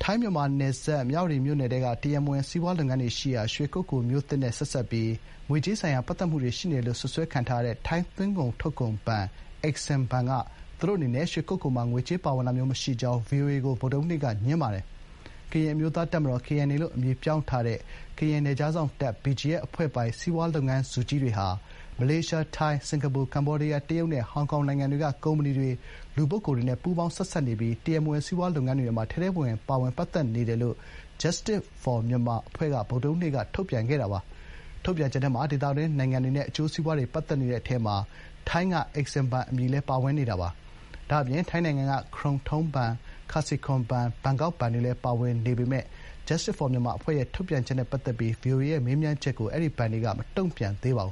ိုင်း-မြန်မာနယ်စပ် မြဝတီမြို့နယ်ထဲက တရားမဝင် စီးပွားလုပ်ငန်းတွေရှိရာ ရွှေကုက္ကိုမြို့သစ်နဲ့ဆက်စပ်ပြီး ငွေကြေးဆိုင်ရာပတ်သက်နေတယ်လို့ စွပ်စွဲခံထားရတဲ့ ထိုင်းသွင်းကုန်ထုတ်ကုန်ဘဏ် EXIM ဘဏ်က သူတို့အနေနဲ့ ရွှေကုက္ကိုမှာ ငွေကြေးထောက်ပံ့တာမျိုးမရှိကြောင်း ဗွီအိုအေကို ဗုဒ္ဓဟူးနေ့ကငြင်းပါတယ်။ ကရင်အမျိုးသားတပ်မတော် (KNA) လို့ အမည်ပြောင်းထားတဲ့ ကရင်နယ်ခြားစောင့်တပ် (BGF) အဖွဲ့ပိုင် စီးပွားလုပ်ငန်းစုကြီးတွေဟာ မလေးရှား၊ ထိုင်း၊ စင်ကာပူ၊ ကမ္ဘောဒီးယား၊ တရုတ်နဲ့ ဟောင်ကောင်နိုင်ငံတွေက ကုမ္ပဏီတွေ၊ လူပုဂ္ဂိုလ်တွေနဲ့ ပူးပေါင်း ဆက်စပ်နေပြီး တရားမဝင် စီးပွားရေးလုပ်ငန်းတွေမှာ ထဲထဲဝင်ဝင် ပါဝင်ပတ်သက်နေတယ်လို့ Justice For Myanmar အဖွဲ့က ဗုဒ္ဓဟူးနေ့က ထုတ်ပြန်ချက်ထဲမှာ ဒေသတွင်းနိုင်ငံတွေနဲ့ အကျိုးစီးပွားတွေ ပတ်သက်နေတဲ့အထဲမှာ ထိုင်းက EXIM ဘဏ်အမည်လည်း ပါဝင်နေတာပါ။ ဒါ့အပြင် ထိုင်းနိုင်ငံက ခရုန်ထိုင်းဘဏ် (Krung Thai)၊ ခါစီခွန် ဘဏ်(Kasikorn)၊ ဘန်ကောက်ဘဏ် (Bangkok) တွေလည်း ပါဝင်နေပေမယ့် Justice For Myanmar အဖွဲ့ရဲ့ ထုတ်ပြန်ချက်နဲ့ပတ်သက်ပြီး ဗွီအိုအေရဲ့မေးမြန်းချက်ကို အဲဒီ ဘဏ်တွေကတော့ မတုံ့ပြန်သေးပါဘ